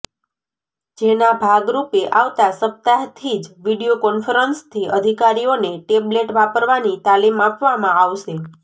જેના ભાગરૂપે આવતાં સપ્તાહથી જ વીડિયો કોન્ફરન્સથી અધિકારીઓને ટેબલેટ વાપરવાની તાલીમ આપવામાં આવશે